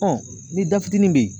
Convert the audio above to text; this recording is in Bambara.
ni da fitinin bɛ yen.